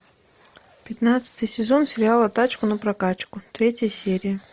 пятнадцатый сезон сериала тачку на прокачку третья серия